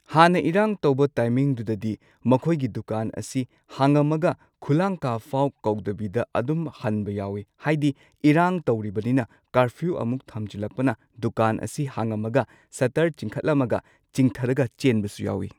ꯍꯥꯟꯅ ꯏꯔꯥꯡ ꯇꯧꯕ ꯇꯥꯏꯃꯤꯡꯗꯨꯗꯗꯤ ꯃꯈꯣꯏꯒꯤ ꯗꯨꯀꯥꯟ ꯑꯁꯤ ꯍꯥꯡꯉꯝꯃꯒ ꯈꯨꯂꯥꯡꯈꯥꯐꯥꯎ ꯀꯧꯗꯕꯤꯗ ꯑꯗꯨꯝ ꯍꯟꯕ ꯌꯥꯎꯏ꯫ ꯍꯥꯏꯗꯤ ꯏꯔꯥꯡ ꯇꯧꯔꯤꯕꯅꯤꯅ ꯀꯥꯔꯐ꯭ꯌꯨ ꯑꯃꯨꯛ ꯊꯝꯖꯤꯜꯂꯛꯄꯅ ꯗꯨꯀꯥꯟ ꯑꯁꯤ ꯍꯥꯡꯉꯝꯃꯒ ꯁꯇꯔ ꯆꯤꯡꯈꯠꯂꯝꯃꯒ ꯆꯤꯡꯊꯔꯒ ꯆꯦꯟꯕꯁꯨ ꯌꯥꯎꯏ꯫